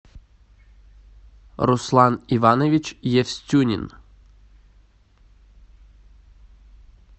руслан иванович евстюнин